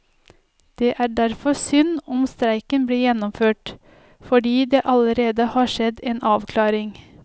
Det er derfor synd om streiken blir gjennomført, fordi det allerede har skjedd en avklaring.